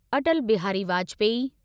Atal Bihari Vajpayee